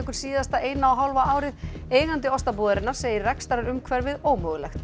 síðasta eina og hálfa árið eigandi Ostabúðarinnar segir rekstrarumhverfið ómögulegt